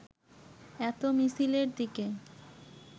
এত মিছিলের দিকে